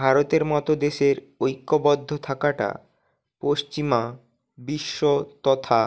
ভারতের মতো দেশের ঐক্যবদ্ধ থাকাটা পশ্চিমা বিশ্ব তথা